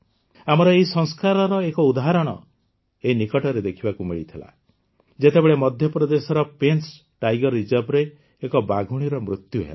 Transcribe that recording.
ଆମର ଏହି ସଂସ୍କାରର ଏକ ଉଦାହରଣ ଏଇ ନିକଟରେ ଦେଖିବାକୁ ମିଳିଥିଲା ଯେତେବେଳେ ମଧ୍ୟପ୍ରଦେଶର ପେଂଚ୍ ଟାଇଗର ରିଜର୍ଭରେ ଏକ ବାଘୁଣୀର ମୃତ୍ୟୁ ହେଲା